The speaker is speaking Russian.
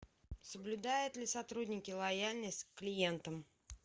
соблюдают ли сотрудники лояльность к клиентам